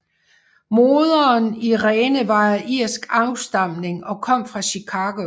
Moderen Irene var af irsk afstamning og kom fra Chicago